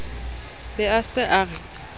be a se a re